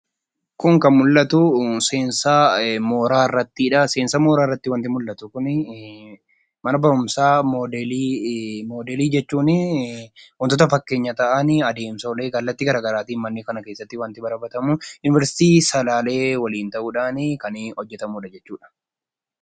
Kun kan mul'atu seensaa mooraa irrattidha. Seensaa mooraa irratti wantti mul'atuu kuni mana baruumsa modelii. Modeelii jechuun waantotaa fakkenyaa ta'aan addomsollee kallatti gara garaattin mana kana keessatti baratamu. Univesitti Salalee wajiin ta'uun kanbhojeetamuu jechuudha.